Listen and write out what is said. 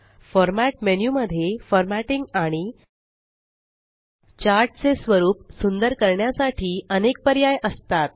format menu मध्ये formatting आणि chart चे स्वरुप सुंदर करण्यासाठी अनेक पर्याय असतात